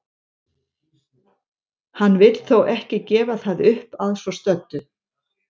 Hann vill þó ekki gefa það upp að svo stöddu.